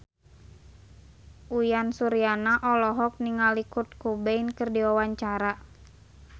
Uyan Suryana olohok ningali Kurt Cobain keur diwawancara